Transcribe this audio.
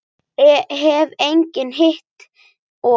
Hef engan hitt og.